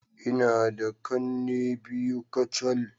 Ina da kanne biyu kacal.